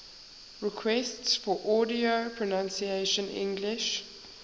requests for audio pronunciation english